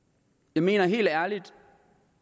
jeg mener helt ærligt